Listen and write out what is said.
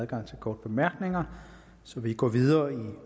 adgang til korte bemærkninger så vi går videre i